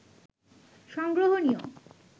সংগ্রহণীয়